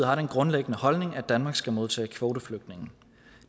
grundlæggende holdning at danmark skal modtage kvoteflygtninge